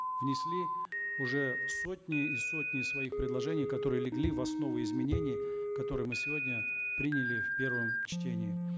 внесли уже сотни и сотни своих предложений которые легли в основу изменений которые мы сегодня приняли в первом чтении